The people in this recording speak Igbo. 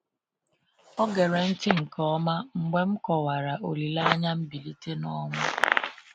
Ọ gere ntị nke ọma mgbe m kọwara olileanya mgbilite n’ọnwụ.